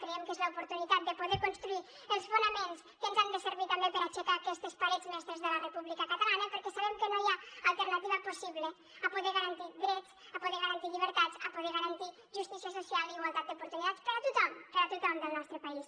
creiem que és l’oportunitat de poder construir els fonaments que ens han de servir també per aixecar aquestes parets mestres de la república catalana perquè sabem que no hi ha alternativa possible a poder garantir drets a poder garantir llibertats a poder garantir justícia social i igualtat d’oportunitats per a tothom per a tothom del nostre país